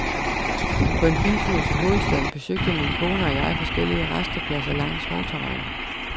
På en biltur til hovedstaden besøgte min kone og jeg forskellige rastepladser langs motorvejen.